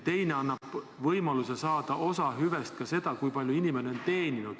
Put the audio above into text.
Teine sammas aga annab võimaluse saada kasu sellest, kui on õnnestunud palju teenida.